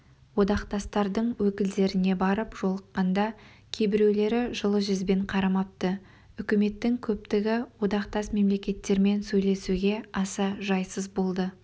одақтастардың өкілдеріне барып жолыққанда кейбіреулері жылы жүзбен қарамапты үкіметтің көптігі одақтас мемлекеттермен сөйлесуге аса жайсыз болды